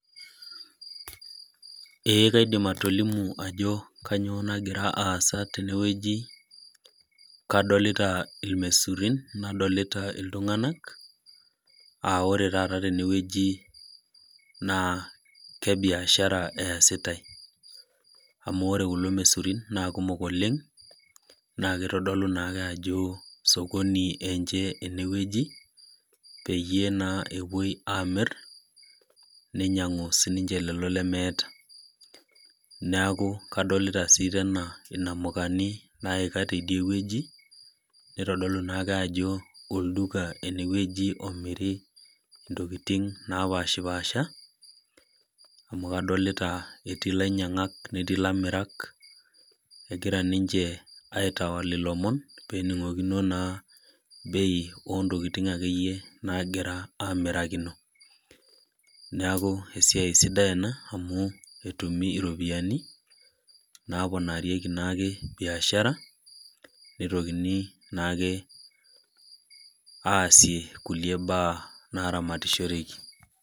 Ee kaidim atolimu ajo kanyioo nagira aasa tenewueji, kadolita irmaisurin, nadolita iltung'anak, ah ore taata tenewueji naa kebiashara eesitai. Amu ore kulo maisurin naa kumok oleng, na kitodolu nake ajo osokoni enche enewueji, peyie naa epoi amir, ninyang'u sininche lelo lemeeta. Neeku kadolita si tena inamukani naika tidie wueji, nitodolu naake ajo olduka enewueji omiri intokiting napashipasha, amu kadolita ilainyang'ak netii lamirak, egira ninche aitawal ilomon, pening'okino naa bei ontokiting akeyie nagira amirakino. Neeku esiai sidai ena, amu etumi iropiyiani, naponarieki naake biashara, nitokini naake aasie kulie baa naramatishoreki.